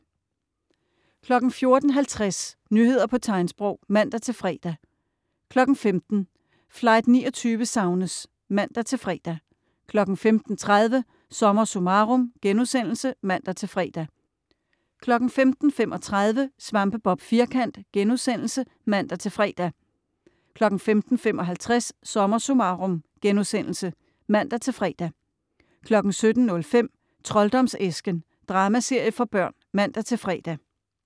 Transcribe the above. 14.50 Nyheder på tegnsprog (man-fre) 15.00 Flight 29 savnes! (man-fre) 15.30 SommerSummarum* (man-fre) 15.35 Svampebob Firkant* (man-fre) 15.55 SommerSummarum* (man-fre) 17.05 Trolddomsæsken. Dramaserie for børn (man-fre)